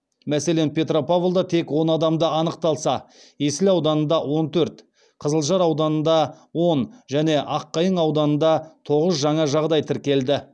мәселен петропавлда тек он адамда анықталса есіл ауданында он төрт қызылжар ауданында он және аққайың ауданында тоғыз жаңа жағдай тіркелді